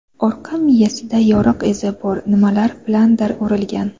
Orqa miyasida yoriq izi bor, nima bilandir urilgan.